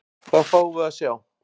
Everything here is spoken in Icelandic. Hvað fáum við að sjá?